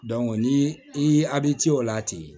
ni i a bɛ ci o la ten